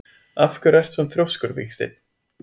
Af hverju ertu svona þrjóskur, Vígsteinn?